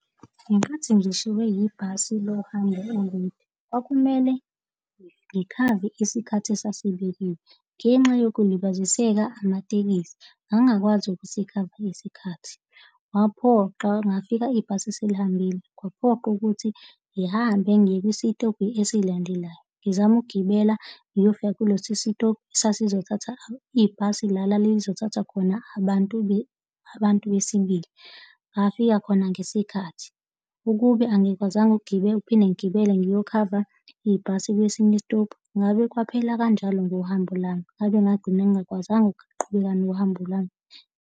Ngenkathi ngishiywe yibhasi lohambo elikude, kwakumele ngikhave isikhathi esasibekiwe. Ngenxa yokulibaziseka amatekisi ngangakwazi ukuthi sikhave isikhathi. Ngaphoqa, ngafika ibhasi selihambile kwaphoqa ukuthi ngihambe ngiye kwisitobhi esilandelayo, ngizama ukugibela ngiyofika kuleso sitobhu sasizothatha ibhasi la lalizothatha khona abantu abantu besibili, ngafika khona ngesikhathi. Ukube angikwazanga ukugibela, ukuphinde ngigibele ngiyokhava ibhasi kwesinye isitobhu, ngabe kwaphela kanjalo ngohambo lwami ngabe ngagcina ngingakwazanga ukuqhubeka nohambo lwami.